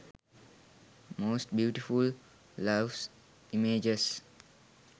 most beautiful loves images